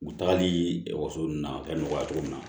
U tagali waso n na ka nɔgɔya cogo min na